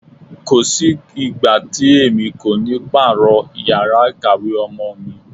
Kò sí ìgbà tí èmi kò ní pààrọ̀ yàrá ìkàwé ọmọ mi.